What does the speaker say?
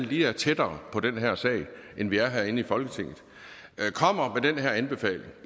lige tættere på den her sag end vi er herinde i folketinget kommer med den her anbefaling